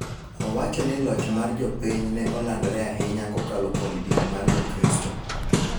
owacho ni loch mar jopiny ne olandore ahinya kokalo kuom din ma Jo Kristo